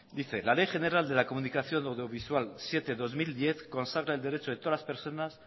dice la ley general de la comunicación audiovisual siete barra dos mil diez consagra el derecho de todas las personas